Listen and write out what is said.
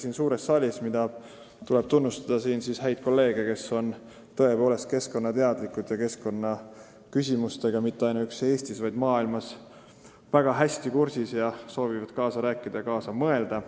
Siinkohal tuleb tõesti tunnustada häid kolleege, kes on keskkonnateadlikud ja väga hästi kursis keskkonnaküsimustega, mitte ainuüksi Eestis, vaid ka maailmas, ning soovivad kaasa rääkida ja kaasa mõelda.